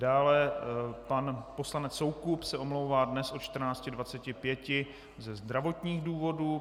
Dále pan poslanec Soukup se omlouvá dnes od 14.25 ze zdravotních důvodů.